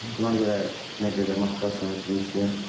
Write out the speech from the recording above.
Buna görə nə qədər motivasiyamı itirmişdim.